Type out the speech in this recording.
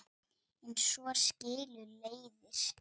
En svo skilur leiðir.